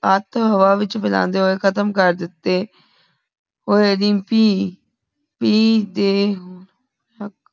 ਹਾਥ ਹਵਾ ਵਿਚ ਫਹੈਲੰਢੇ ਹੁਏ ਖਤਮ ਕਰ ਦਿਤੇ ਓਏ ਰੀਮਪੀ ਟੀ ਤੇ